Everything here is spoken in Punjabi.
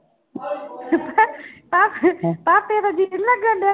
ਭਾਪੇ ਭਾਪੇ ਦਾ ਜੀਅ ਨੀ ਲੱਗਣਡਿਆ।